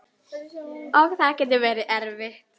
Og það getur verið erfitt.